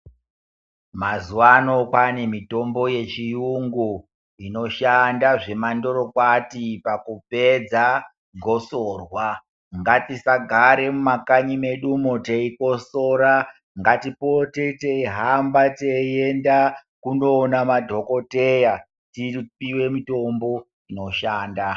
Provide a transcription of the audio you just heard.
Mazuva ano kwane mitombo yechirungu inoshanda zvemandoro kwati pakupedza gosorwa ngatisagara mumakanyi medu teikosora ngatipote teihamba kundoona madhokodheya tipiwe mishonga inoshanda.